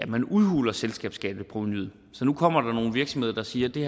man udhuler selskabsskatteprovenuet så nu kommer der nogle virksomheder der siger at det